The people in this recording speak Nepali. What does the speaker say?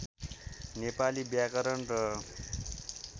नेपाली व्याकरण र